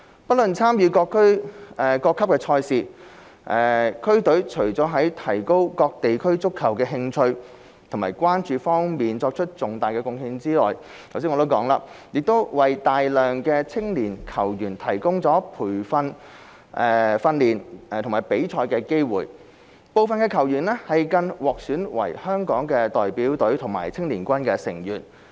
不論參與各級賽事，區隊除了在提高各地區對足球的興趣和關注方面作出重大貢獻外，亦為大量青年球員提供訓練和比賽機會，部分球員更獲選為香港代表隊和青年軍成員。